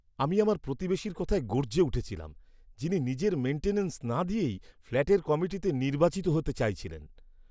আমি আমার প্রতিবেশীর কথায় গর্জে উঠেছিলাম, যিনি নিজের মেইন্টেনেন্স না দিয়েই ফ্ল্যাটের কমিটিতে নির্বাচিত হতে চাইছিলেন!